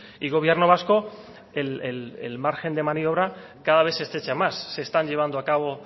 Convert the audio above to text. y gobierno vasco el margen de maniobra cada vez se estrecha más se están llevando a cabo